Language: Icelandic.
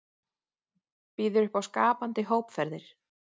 Býður upp á skapandi hópferðir